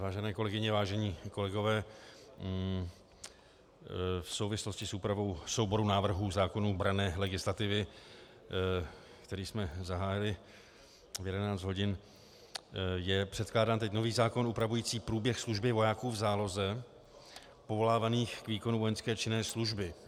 Vážené kolegyně, vážení kolegové, v souvislosti s úpravou souboru návrhů zákonů branné legislativy, který jsme zahájili v 11 hodin, je předkládán teď nový zákon upravující průběh služby vojáků v záloze povolávaných k výkonu vojenské činné služby.